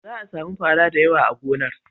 Za a sami fara da yawa a gonar.